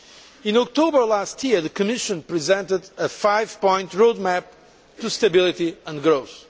In October last year the Commission presented a five point road map to stability and growth.